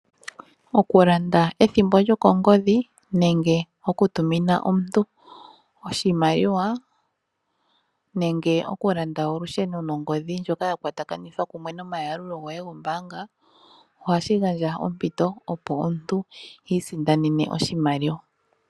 Okulanda ethimbo lyokongadhi nenge oku tumina omuntu oshimaliwa nenge okulanda olusheno nongodhi ndyoka yakwatakanithwa kumwe nomayalulo goye gombanga ohashi gandja ompiti opo omuntu isindanene oshimaliwa.